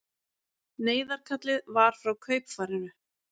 Neyðarkallið var frá kaupfarinu